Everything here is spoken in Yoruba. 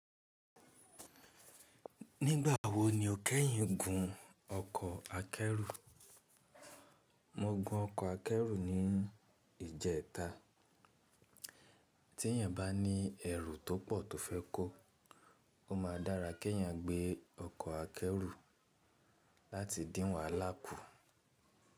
Nígbà wo ni o kẹ́yìn gun ọkọ̀ akẹ́rù? Mo gun ọkọ̀ akẹ́rù ní ìjẹta. Tí èèyàn bá ní ẹrù tó pọ̀ tó fẹ́ kó, ó ma dára kí èèyàn gbé ọkọ̀ akẹ́rù láti dín wàhálà kù.